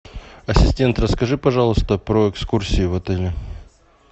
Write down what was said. ассистент расскажи пожалуйста про экскурсии в отеле